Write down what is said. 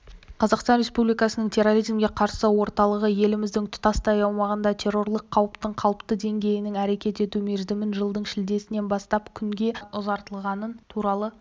қазақстан республикасының терроризмге қарсы орталығы еліміздің тұтастай аумағында террорлық қауіптің қалыпты деңгейінің әрекет ету мерзімін жылдың шілдесінен бастап күнге ұзартылғаны туралы